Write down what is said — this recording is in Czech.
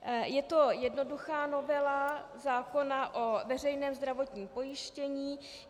Je to jednoduchá novela zákona o veřejném zdravotním pojištění.